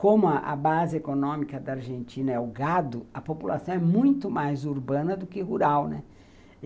Como a base econômica da Argentina é o gado, a população é muito mais urbana do que rural, né?